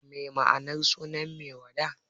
Me ma'anar sunan Maiwada?